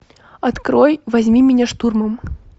открой возьми меня штурмом